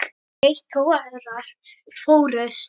Tveir togarar fórust.